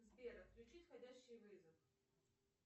сбер отключить входящий вызов